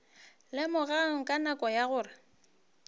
lemogago ka nako ye gore